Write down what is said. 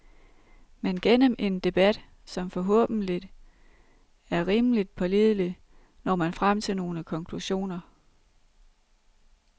Men gennem en debat, som forhåbentlig er rimeligt pålidelig, når man frem til nogle konklusioner.